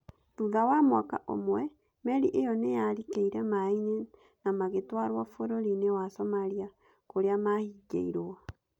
Thutha wa mwaka ũmwe, meri ĩyo nĩyarikĩĩre maĩ-inĩ na magĩtwarwo Bũrũri-inĩ wa Somalia kũria mahigĩĩrwo.